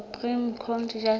supreme court justice